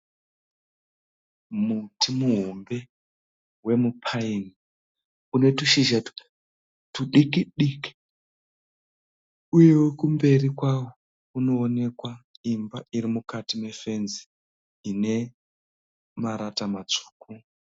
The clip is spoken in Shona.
Muti muhombe wemupaini. Une tushizha tudiki diki. Uyewo kumberi kwawo kuno onekwa imba iri mukati mefenzi ine marata matsvuku.